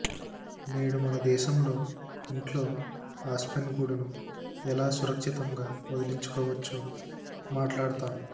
నేడు మన దేశంలో ఇంట్లో ఆస్పెన్ గూడును ఎలా సురక్షితంగా వదిలించుకోవచ్చో మాట్లాడతాము